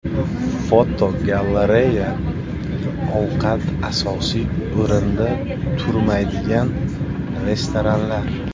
Fotogalereya: Ovqat asosiy o‘rinda turmaydigan restoranlar.